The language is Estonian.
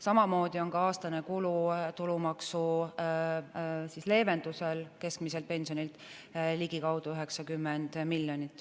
Samamoodi on aastane kulu tulumaksu leevendamisel keskmiselt pensionilt ligikaudu 90 miljonit.